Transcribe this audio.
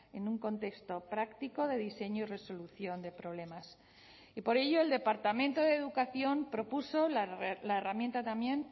en un contexto práctico de diseño y resolución de problemas y por ello el departamento de educación propuso la herramienta también